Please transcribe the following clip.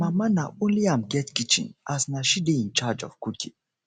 my mama na only am get kitchen as na she dey incharge of cooking